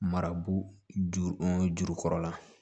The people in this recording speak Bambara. Marabu ju juru kɔrɔla la